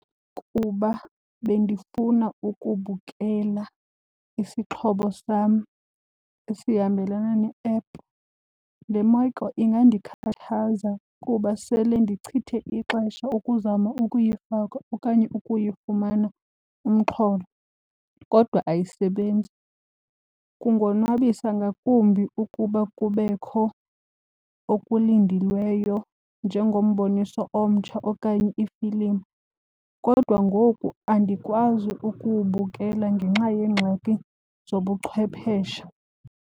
Kuba bendifuna ukubukela isixhobo sam esihambelana ne-app, le ingandikhathaza kuba sele ndichithe ixesha ukuzama ukuyifaka okanye ukuyifumana umxholo kodwa ayisebenzi. Kundonwabisa ngakumbi ukuba kubekho okulindelweyo njengomboniso omtsha okanye ifilimu kodwa ngoku andikwazi ukuwubukela ngenxa yeengxaki zobuchwepheshe.